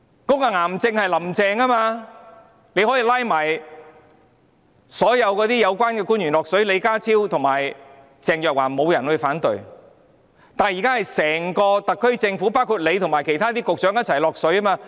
這個癌症便是"林鄭"，她可以將所有有關的官員拉下水，例如李家超和鄭若驊便沒有人會反對，但現在是整個特區政府，包括司長和其他局長也一起下水。